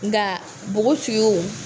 Nka npogotigiw